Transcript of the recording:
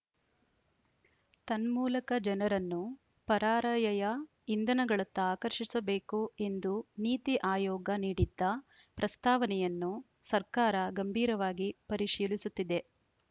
ತನ್ಮೂಲಕ ಜನರನ್ನು ಪರಾರ‍ಯಯ ಇಂಧನಗಳತ್ತ ಆಕರ್ಷಿಸಬೇಕು ಎಂದು ನೀತಿ ಆಯೋಗ ನೀಡಿದ್ದ ಪ್ರಸ್ತಾವನೆಯನ್ನು ಸರ್ಕಾರ ಗಂಭೀರವಾಗಿ ಪರಿಶೀಲಿಸುತ್ತಿದೆ